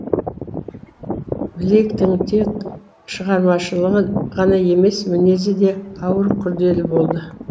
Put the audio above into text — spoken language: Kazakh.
блейктің тек шығармашылығы ғана емес мінезі де ауыр күрделі болды